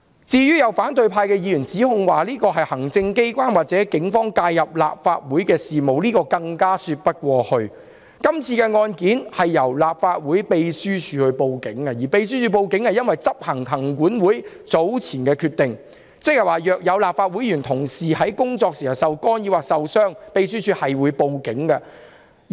至於有反對派議員指控這是行政機關或警方介入立法會事務，這更說不過去，因為今次案件由立法會秘書處報案，而秘書處只是執行行政管理委員會早前的決定，即若有立法會議員或同事在工作時受干擾或受傷，秘書處會報警處理。